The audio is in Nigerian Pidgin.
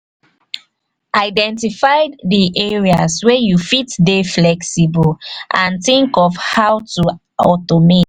identify di areas wey you fit dey flexible and think of how to automate